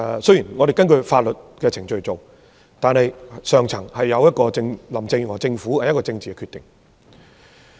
雖然政府是按法律程序做事，但這一定是林鄭月娥政府高層的政治決定。